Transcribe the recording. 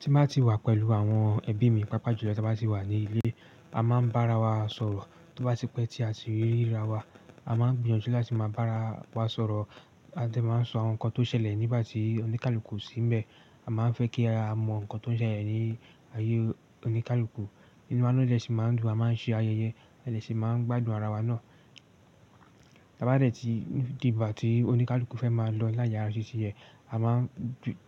Tí mo bá ti wà pẹ̀lú àwọn ẹbí mi, pàápàá jùlọ tí a bá ti wà ní ilé, a máa ń bára wa sọ̀rọ̀. Tó bá ti pẹ́ tí a ti ríra wa, a máa ń gbìyànjú láti máa bára wa sọ̀rọ̀. Adé máa ń sọ àwọn nǹkan tó ṣẹlẹ̀ nígbà tí oníkálukú o sín bẹ̀. A máa ń fẹ́ kí a mọ nǹkan tó ń ṣẹlẹ̀ ní ayé oníkálukú. Inu wa dẹ̀ sí máa ń dùn, a máa ń ṣe ayẹyẹ, a de si máa ń gbádùn ara wa náà. Bá dẹ̀ tí dìgbà tí oníkálukú fẹ́ máa lọ láyé ara títí yẹn, a máa ń